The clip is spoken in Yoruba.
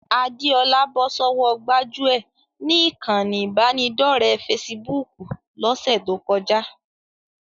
Adéọlá bọ́ sọ́wọ́ gbájúẹ̀ ni ìkànnì ìbánidọ́ọ̀rẹ́ fesibúùkù lọ́sẹ̀ tó kọjá